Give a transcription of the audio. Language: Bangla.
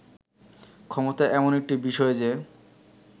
ক্ষমতা এমন একটি বিষয় যে